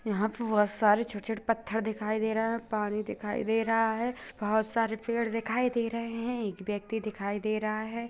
यहाँ पर बहुत सारे छोटे-छोटे पत्थर दिखाई दे रहा हैं पानी दिखाई दे रहा है बहुत सारे पेड़ दिखाई दे रहे हैं एक व्यक्ति दिखाई दे रहा है।